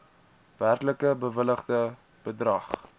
werklik bewilligde bedrag